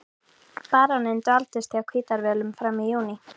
Baróninn dvaldist á Hvítárvöllum fram í júní.